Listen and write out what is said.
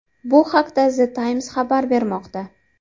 Bu haqda The Times xabar bermoqda .